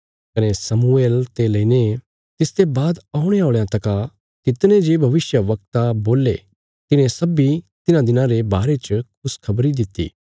कने शमुएल ते लईने तिसते बाद औणे औल़यां तका तितने जे भविष्यवक्ता बोल्ले तिन्हें सब्बीं तिन्हां दिनां रे बारे च खुशखबरी दित्ति